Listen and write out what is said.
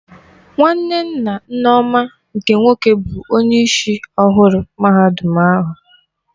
Nwanne nna Nneoma nke nwoke bụ onyeisi ọhụrụ mahadum ahụ.